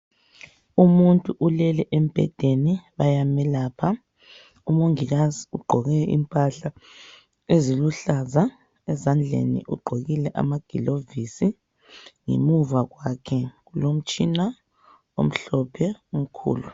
Umuntu ulele embedeni bayamelapha. Umongikazi ugqoke impahla eziluhlaza, ezandleni ugqokile amagilovisi, ngemuva kwakhe kulomtshina omhlophe omkhulu.